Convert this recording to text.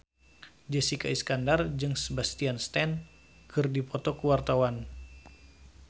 Jessica Iskandar jeung Sebastian Stan keur dipoto ku wartawan